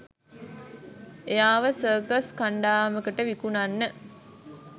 එයාව සර්කස් කණ්ඩායමකට විකුණන්න.